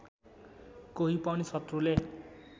कोही पनि शत्रुले